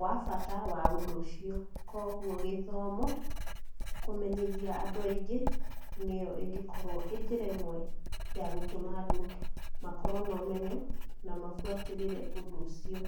wa bata wa ῦndῦ ῦcio, koguo gῖthomo, kῦmenyithia andῦ aingῖ nῖyo ῖngῖkorwo ῖ njῖra ῖmwe ya gῦtῦma andῦ makorwo na ῦmenyo na mabuatῖrῖre ῦndῦ ῦcio.